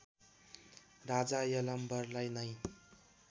राजा यलम्बरलाई नै